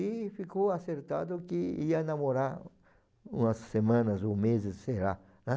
E ficou acertado que ia namorar umas semanas ou meses, sei lá, né.